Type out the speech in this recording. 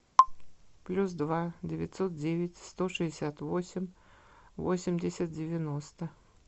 плюс два девятьсот девять сто шестьдесят восемь восемьдесят девяносто